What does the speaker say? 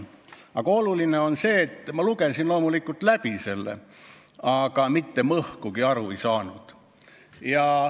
Aga oluline on see, et ma lugesin loomulikult selle kõik läbi, aga mitte mõhkugi aru ei saanud.